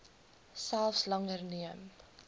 selfs langer neem